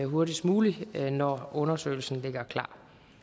hurtigst muligt når undersøgelsen ligger klar